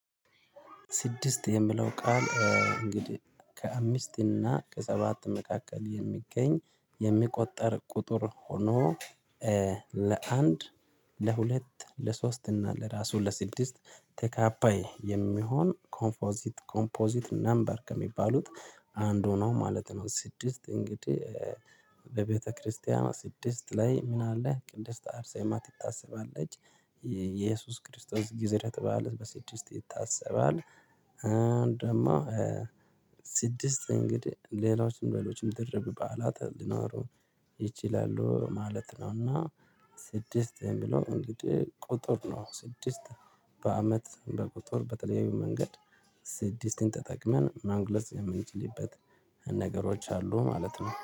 ስድስት የሚለው ቃል እንግዲህ ከአምስት እና ከሰባት መካከል የሚገኝ የሚቆጠር ቁጥር ሆኖ ለአንድ ለሁለት ለሶስት እና ለራሱ ለስድስት ተካፋይ የሚሆን ኮምፖዚት ኮምፖዚት ናምበር ከሚባሉት አንድ ሆኖ ማለት ነው። ስድስት እንግዲህ ለቤተክርስቲያን ስድስት ላይ ምን አለ ቅድስት አርሴማ ትታሰባለች? የኢየሱስ ክርስቶስ ግዝረት በዓል በስድስት ይታሰባል። ደግሞ ስድስት እንግዲህ ሌሎችም በዓሎችም ድርብ በዓላት ሊኖሩ ይችላሉ ማለት ነውና። ስድስት የምለው እንግዲህ ቁጥር ነው። በአመት በቁጥር በተለያዩ መንገድ ስድስትን ተጠቅመን መግለጽ የምንችልበት ነገሮች አሉ ማለት ነው